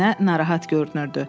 Nənə narahat görünürdü.